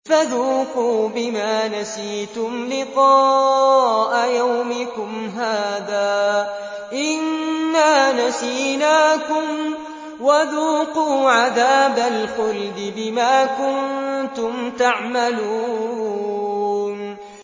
فَذُوقُوا بِمَا نَسِيتُمْ لِقَاءَ يَوْمِكُمْ هَٰذَا إِنَّا نَسِينَاكُمْ ۖ وَذُوقُوا عَذَابَ الْخُلْدِ بِمَا كُنتُمْ تَعْمَلُونَ